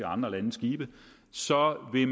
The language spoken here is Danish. andre landes skibe så vil